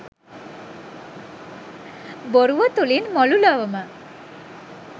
බොරුව තුළින් මුළු ලොවම